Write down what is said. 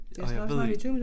Og jeg ved ikke